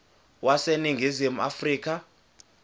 wase ningizimu afrika